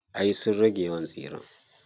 Ay sun rage yawan tsiren.